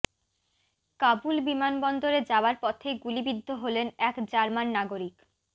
কাবুল বিমানবন্দরে যাওয়ার পথে গুলিবিদ্ধ হলেন এক জার্মান নাগরিক